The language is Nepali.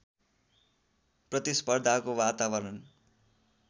प्रतिस्पर्धाको वातावरण